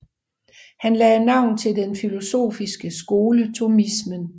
Han lagde navn til den filosofiske skole thomismen